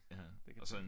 Ja og så en